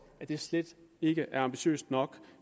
at det slet ikke er ambitiøst nok